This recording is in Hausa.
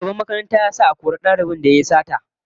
Shugaban makaranta ya sa a kori dalibin da yayi sata